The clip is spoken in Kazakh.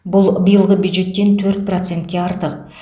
бұл биылғы бюджеттен төрт процентке артық